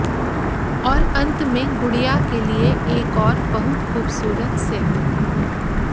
और अंत में गुड़िया के लिए एक और बहुत खूबसूरत सेट